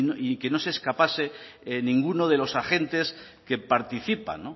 y que no se escapase ninguno de los agentes que participan